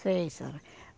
Sei, senhora.